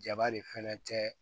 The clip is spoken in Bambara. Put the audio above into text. Jaba de fɛnɛ tɛ